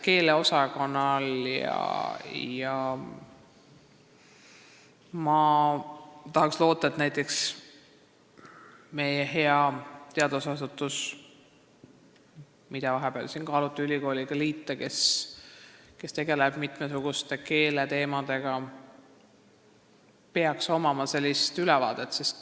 Ma tahaks loota, et meie heal teadusasutusel, mille liitmist ülikooliga vahepeal kaaluti ja kes tegeleb mitmesuguste keeleteemadega, on selline ülevaade.